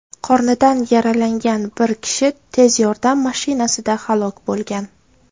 Qornidan yaralangan bir kishi tez yordam mashinasida halok bo‘lgan.